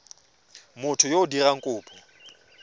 motho yo o dirang kopo